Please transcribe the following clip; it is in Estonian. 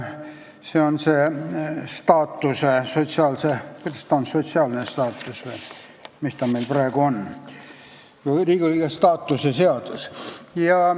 Kolmas muudatus toimus aastal 2007, kui tuli täiesti uus seadus uue nimega: see on praegugi kehtiv Riigikogu liikme staatuse seadus.